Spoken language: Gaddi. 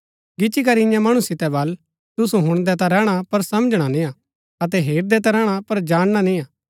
गिचीकरी इन्या मणु सितै बल तुसु हुणदै ता रैहणा पर समझणा निय्आ अतै हेरदै ता रैहणा पर जानणा निय्आ